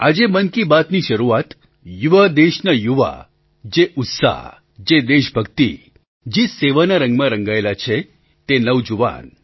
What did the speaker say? આજે મન કી બાતની શરૂઆત યુવા દેશના યુવા જે ઉત્સાહ જે દેશભક્તિ જે સેવાના રંગમાં રંગાયેલા છે તે નવજુવાન